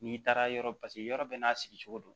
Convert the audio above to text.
N'i taara yɔrɔ paseke yɔrɔ bɛɛ n'a sigicogo don